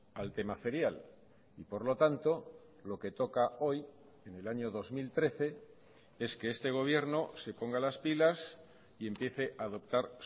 al tema ferial y por lo tanto lo que toca hoy en el año dos mil trece es que este gobierno se ponga las pilas y empiece a adoptar